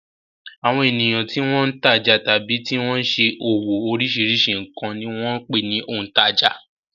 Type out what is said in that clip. Àwọn ènìyàn tí wọ́n ń tajà tàbí tí wọ́n ṣe òwò oríṣiríṣi nǹkan ni wọ́n ń pè ní òǹtajà.